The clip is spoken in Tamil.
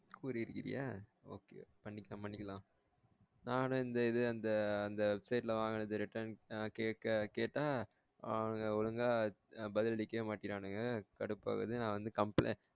கூறி இருக்கியா okay பண்ணிக்கலாம் பண்ணிக்கலாம் நானும் இந்த இது அந்த website ல வாங்குனத return கேக்க கேட்டா அவனுங்க ஒழுங்கா பதில் அளிக்கவே மாட்ரானுங்க கடுப்பு ஆகுது நா வந்து complaint